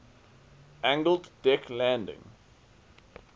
angled deck landing